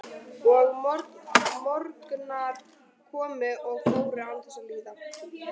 Og morgnar komu og fóru án þess að líða.